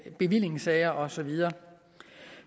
bevillingssager og så videre